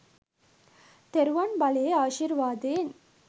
තෙරුවන් බලයේ ආශිර්වාදයෙන්.